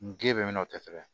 N ge bɛ n'o tɛ sɛbɛn